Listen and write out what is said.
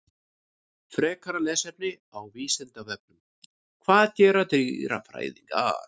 Frekara lesefni á Vísindavefnum: Hvað gera dýrafræðingar?